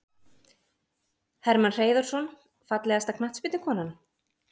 Hermann Hreiðarsson Fallegasta knattspyrnukonan?